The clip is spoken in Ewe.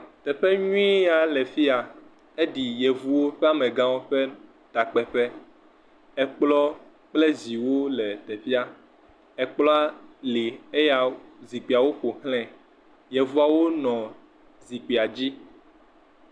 Teƒe nyui ya le fi ya. Eɖi yevowo ƒe amegãwo ƒe takpeƒe. Ekplɔ kple ziwo le teƒea. Ekplɔa li eya zikpuiawo ƒoxlae. Yevuawo nɔ zikpuia dzi.